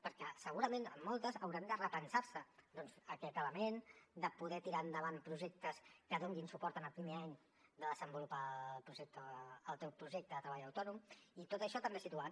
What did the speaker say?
perquè segurament en moltes haurà de repensar se doncs aquest element de poder tirar endavant projectes que donin suport en el primer any de desenvolupar el projecte el teu projecte de treball autònom i tot això també situat